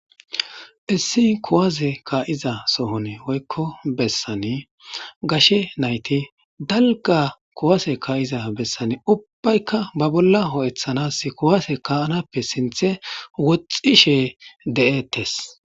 Issi kuwase ka'iza sohoni woyko besan gashe nayti dalga kuwase ka'iza besani Tani ubbayka ba bolla ho'ethanas kuwase ka'anappe sinthe wothishe de'ettes